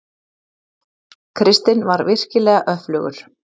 Kristinn var virkilega öflugur.